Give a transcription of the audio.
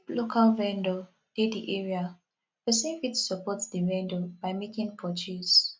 if local vendor dey di area person fit support di vendor by making purchase